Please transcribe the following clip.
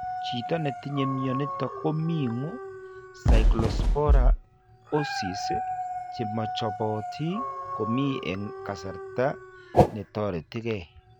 Chito netinye mionitok koming'u Cyclospora oocysts chemochopoti komie eng' kasarta netoritigei